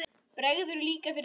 Bregður líka fyrir í ljóði.